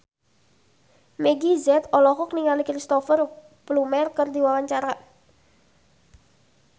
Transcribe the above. Meggie Z olohok ningali Cristhoper Plumer keur diwawancara